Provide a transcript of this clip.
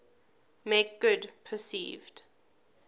make good perceived